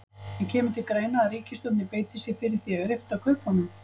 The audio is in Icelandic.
En kemur til greina að ríkisstjórnin beiti sér fyrir því að rifta kaupunum?